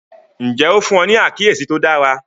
Ǹjẹ́ o fún wọ́n ní àkíyèsí tó dára?